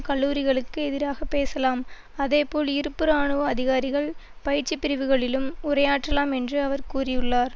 கல்லூரிகளுக்கு எதிராக பேசலாம் அதேபோல் இருப்பு இராணுவ அதிகாரிகள் பயிற்சி பிரிவுகளிலும் உரையாற்றலாம் என்று அவர் கூறியுள்ளார்